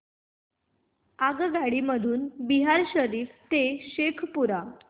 आगगाडी मधून बिहार शरीफ ते शेखपुरा